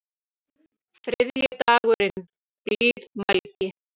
Þriðji dagurinn: Blíðmælgi.